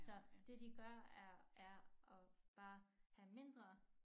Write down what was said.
Så det de gør er er at bare have mindre